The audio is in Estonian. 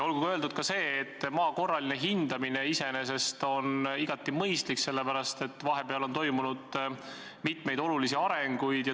Olgu öeldud ka see, et maa korraline hindamine on iseenesest igati mõistlik, sest vahepeal on toimunud mitmeid olulisi arenguid.